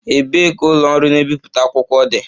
Ebee ka ụlọ ọrụ na-ebipụta akwụkwọ dị?